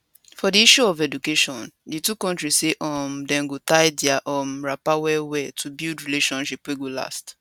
for di issue of education di two kontri say um dem go tie dia um wrapper wellwell to build relationship wey go last